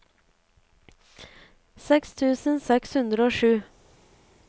seks tusen seks hundre og sju